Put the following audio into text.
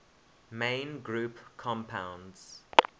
main group compounds